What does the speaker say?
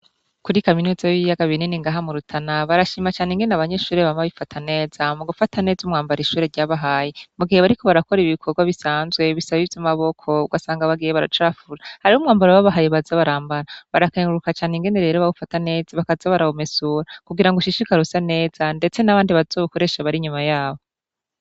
Kuri kaminuza y'ibiyaga binini ngaha mu Rutana barashima cane ingene abanyeshure bama bifata neza mu gufata neza umwambaro ishure ryabahaye mu gihe bariko barakora ibikorwa bisanzwe bisaba ivy'amaboko ugasanga bagiye baracafura hariho umwambaro babahaye baza barambara, barakenguruka cane ingene rero bawufata neza bakaza barawumesura kugira ngo ushishikare usa neza ndetse n'abandi bazowukoreshe bari inyuma yabo.